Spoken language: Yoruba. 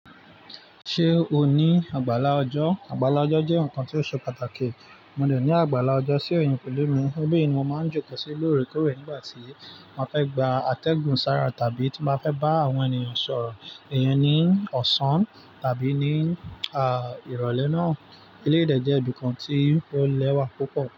Ṣé o ní àgbàlá ọjọ́? Àgbàlá ọjọ́ jẹ́ ǹkan tí ó ṣe pàtàkì. Mo lè ní àgbàlá ọjọ́ sí eeyàn pẹ̀lú mi. Nibii mo máa ń jókòó sí l'oorekooré nígbà tí mo ba fẹ́ gba àtẹ̀gùn sára tàbí tí mo fẹ́ bá àwọn ènìyàn sọ̀rọ̀. Eyii ní ọ̀sán tàbí ní, à, ìrọ̀lẹ́ náà. Eleyii de jẹ́ ibìkan tí ó lẹ́wà púpọ̀.